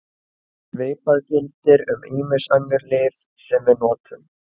Svipað gildir um ýmis önnur lyf sem við notum.